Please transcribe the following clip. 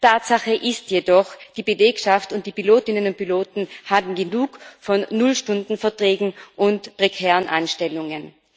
Tatsache ist jedoch Die Belegschaft und die Pilotinnen und Piloten haben genug von Null Stunden Verträgen und prekären Anstellungen.